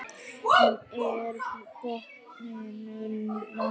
En er botninum náð?